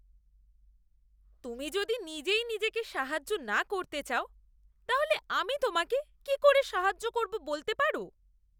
তুমি যদি নিজেই নিজেকে সাহায্য না করতে চাও তাহলে আমি তোমাকে কি করে সাহায্য করবো বলতে পারো!